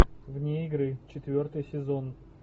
вне игры четвертый сезон